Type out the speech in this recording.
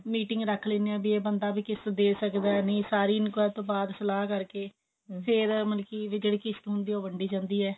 meeting ਰੱਖ ਲਿੰਦੇ ਆ ਵੀ ਇਹ ਬੰਦਾ ਕਿਸ਼ਤ ਦੇ ਸਕਦਾ ਨਹੀਂ ਸਾਰੀ enquiry ਤੋਂ ਬਾਅਦ ਸਲਾਹ ਕਰਕੇ ਫੇਰ ਮਤਲਬ ਕਿ ਜਿਹੜੀ ਕਿਸ਼ਤ ਹੁੰਦੀ ਐ ਉਹ ਵੰਡੀ ਜਾਂਦੀ ਹੈ